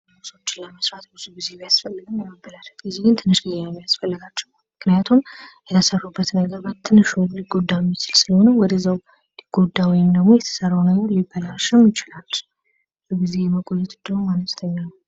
ለመስራት ብዙ ጊዜ ቢያስፈልግም ለመበላሸት ጊዜ ግን ትንሽ ጊዜ ነው የሚያስፈልጋቸው ምክንያቱም የተሰሩበት ነገር በትንሹ ሊጎዳ የሚችል ስለሆነ ሊጎዳ ወይም ደግሞ የተሰራው ነገር ሊበላሽም ይችላል። ብዙ ጊዜ የመቆየት እድሉም አነስተኛ ነው።